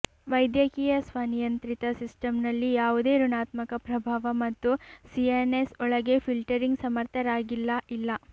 ವೈದ್ಯಕೀಯ ಸ್ವನಿಯಂತ್ರಿತ ಸಿಸ್ಟಂನಲ್ಲಿ ಯಾವುದೇ ಋಣಾತ್ಮಕ ಪ್ರಭಾವ ಮತ್ತು ಸಿಎನ್ಎಸ್ ಒಳಗೆ ಫಿಲ್ಟರಿಂಗ್ ಸಮರ್ಥರಾಗಿಲ್ಲ ಇಲ್ಲ